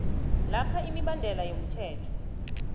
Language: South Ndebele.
lapha imibandela yomthetho